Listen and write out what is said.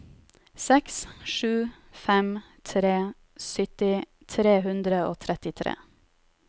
seks sju fem tre sytti tre hundre og trettitre